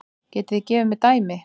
Getið þið gefið mér dæmi?